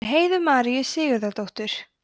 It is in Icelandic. eftir heiðu maríu sigurðardóttur